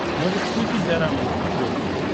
можешь включить дорама на смотрешке